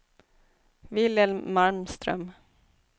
Wilhelm Malmström